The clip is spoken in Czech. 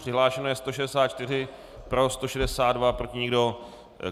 Přihlášeno je 164, pro 162, proti nikdo.